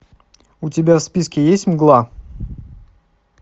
у тебя в списке есть мгла